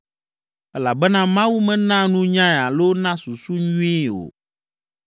Elabena Mawu mena nunyae alo na susu nyuie o.